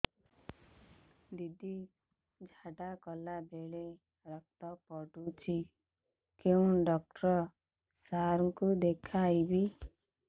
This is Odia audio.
ଦିଦି ଝାଡ଼ା କଲା ବେଳେ ରକ୍ତ ପଡୁଛି କଉଁ ଡକ୍ଟର ସାର କୁ ଦଖାଇବି